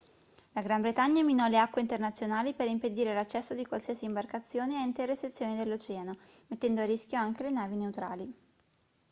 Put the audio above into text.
la gran bretagna minò le acque internazionali per impedire l'accesso di qualsiasi imbarcazione a intere sezioni dell'oceano mettendo a rischio anche le navi neutrali